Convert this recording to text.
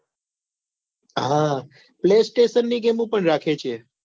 હા play station ની game પણ રાખી છે